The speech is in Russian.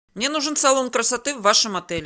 мне нужен салон красоты в вашем отеле